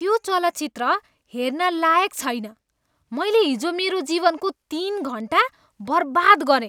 त्यो चलचित्र हेर्न लायक छैन। मैले हिजो मेरो जीवनको तिन घन्टा बर्बाद गरेँ।